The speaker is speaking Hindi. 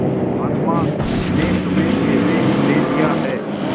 महात्मा ने तुम्हें ऐसे ही दे दिया है